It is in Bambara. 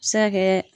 A bɛ se ka kɛ